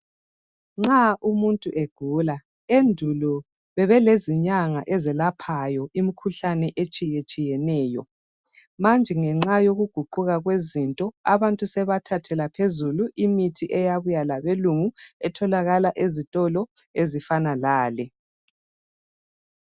Nxa umuntu egula endulo bebeleZinyanga ezelaphayo imikhuhlane etshiyetshiyeneyo, manje ngenxa yokuguquka kwezinto abantu sebathathela phezulu imithi eyabuya labelungu etholakala ezitolo ezifana lale.